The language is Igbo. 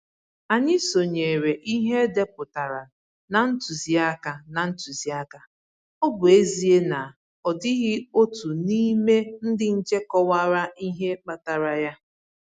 Anyị sonyere ihe e depụtaran na ntụziaka, na ntụziaka, ọ bụ ezie na ọ dịghị otu n'ime ndị nche kọwara ihe kpatara ya.